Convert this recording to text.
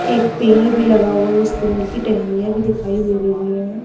एक पेड़ भी लगा हुआ उस पेड़ की टहनियां भी दिखाई दे रही है।